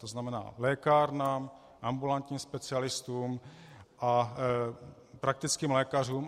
To znamená lékárnám, ambulantním specialistům a praktickým lékařům.